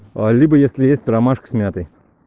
либо если есть ромашка с мятой